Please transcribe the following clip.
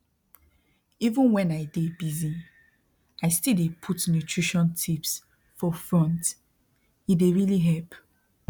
even when i dey busy i still dey put nutrition tips for fronte dey really help